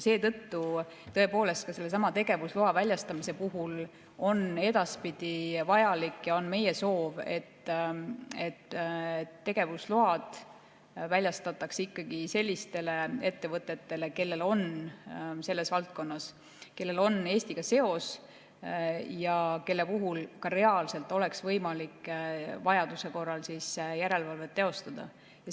Seetõttu tõepoolest ka sellesama tegevusloa väljastamise puhul on edaspidi vajalik ja on meie soov, et tegevusload väljastatakse ikkagi sellistele ettevõtetele, kellel on selles valdkonnas Eestiga seos ja kelle üle ka reaalselt oleks võimalik vajaduse korral järelevalvet teostada.